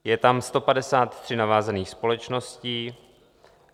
Je tam 153 navázaných společností.